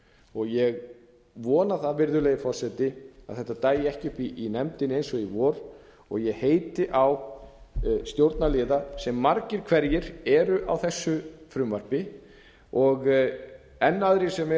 frumvarp ég vona það virðulegi forseti að þetta dagi ekki uppi í nefndinni eins og í vor ég heiti á stjórnarliða sem margir hverjir eru á þessu frumvarpi og enn aðrir sem eru